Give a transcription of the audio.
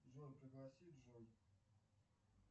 джой пригласи джой